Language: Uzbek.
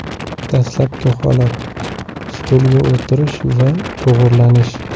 Dastlabki holat: stulga o‘tirish va to‘g‘rilanish.